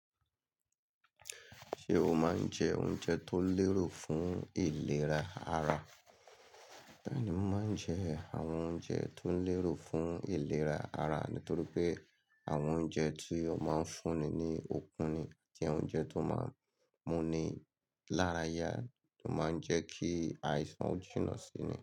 Ṣé o máa ń jẹ oúnjẹ tó lérò fún ìlera ara? Bẹ́ẹ̀ni, mò ń jẹ àwọn oúnjẹ tó lérò fún ìlera ara nítorí pé àwọn oúnjẹ tí o máa ń fúnni ní okun ni àti oúnjẹ tó máa ń mú mi lára yá, to máa ń jẹ́ kí àìsàn jìnà sí mi.